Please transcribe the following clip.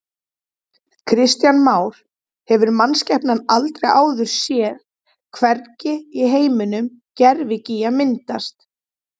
Kristján Már: Hefur mannskepnan aldrei áður séð, hvergi í heiminum, gervigíga myndast?